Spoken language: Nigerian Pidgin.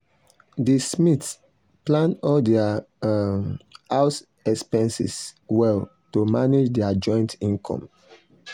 the smiths plan all their um house expenses well to manage their joint income.